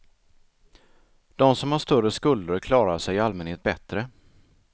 De som har större skulder klarar sig i allmänhet bättre.